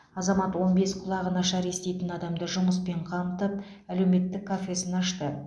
азамат он бес құлағы нашар еститін адамды жұмыспен қамтып әлеуметтік кафесін ашты